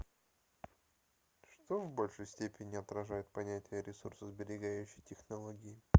что в большей степени отражает понятие ресурсосберегающие технологии